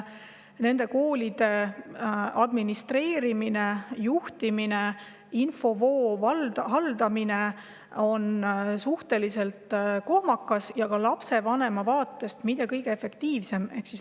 Nende koolide administreerimine, juhtimine, infovoo haldamine on suhteliselt kohmakas ja ka lapsevanema vaatest mitte kõige efektiivsem.